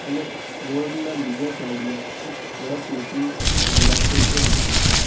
અને રોડ ના બીજા સાઈડ માં એક ટ્રક મૂકી રહ્યા છે તે દેખાય છે.